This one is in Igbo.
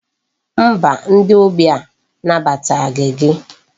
Mba, ndi ogbi a nabataghị gị.